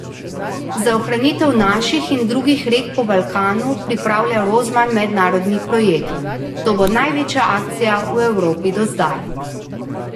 Za ohranitev naših in drugih rek po Balkanu pripravlja Rozman mednarodni projekt: "To bo največja akcija v Evropi do zdaj.